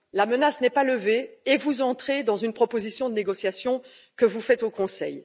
La menace n'est pas levée et vous entrez dans une proposition de négociation, que vous faites au Conseil.